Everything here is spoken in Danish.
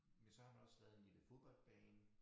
Men så har der også været en lille fodboldbane